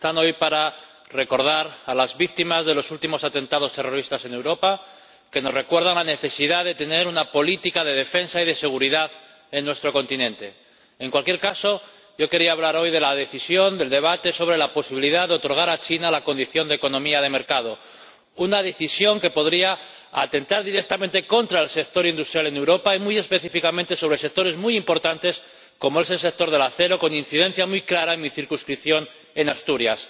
Señor Presidente, mis primeras palabras hoy son para recordar a las víctimas de los últimos atentados terroristas en Europa, que nos recuerdan la necesidad de tener una política de defensa y de seguridad en nuestro continente. En cualquier caso, yo quería hablar hoy de la decisión, del debate sobre la posibilidad de otorgar a China la condición de economía de mercado, una decisión que podría atentar directamente contra el sector industrial en Europa y afectar muy específicamente a sectores muy importantes, como es el sector del acero, con incidencia muy clara en mi circunscripción, en Asturias.